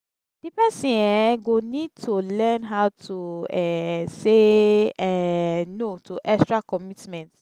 di person um go need to learn how to um say um no to extra committment